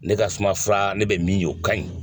Ne ka sumaya fura ne bɛ min ye o ka ɲi.